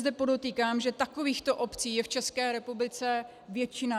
Zde podotýkám, že takovýchto obcí je v České republice většina.